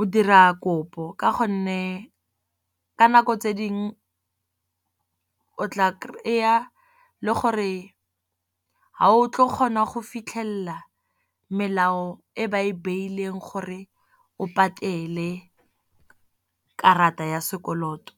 o dira kopo. Ka gonne ka nako tse dingwe o tla kry-a le gore ga o tlo kgona go fitlhelela melao, e ba e beileng gore o patele karata ya sekoloto.